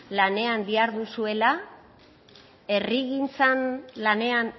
lanean diharduzuela herrigintzan lanean